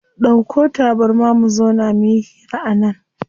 Dauko tabarma mu zauna muyi hira a nan.